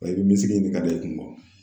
Wa i bi misiki ɲini ka da i kun